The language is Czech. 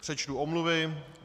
Přečtu omluvy.